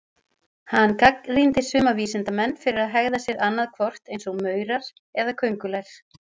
Hann gagnrýndi suma vísindamenn fyrir að hegða sér annað hvort eins og maurar eða köngulær.